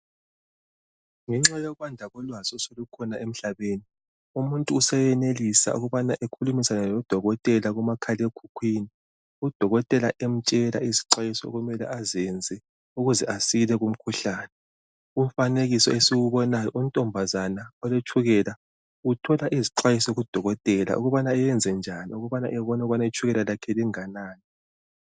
Ngenxa yokwanda lolwazi oselukhona emhlaneni umuntu seyenelisa ukubana akhulume lo dokotela kumakhale khukwini udokotela amtshela izixwayiso okumele azenze ukuze asile kumkhuhlane umfanekiso ediwubonayo untombazana oletshukela Uthola izixwayiso kudokotela ukubana ayenzenjani ukuba abone ukuthi itshukela yakhe onganani